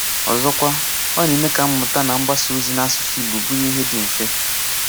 Ọzọkwa, ọ na-eme ka mmụ̀tà na mgbàsá òzì n’asụ̀sụ́ Ìgbò bụrụ ihe dị mfe.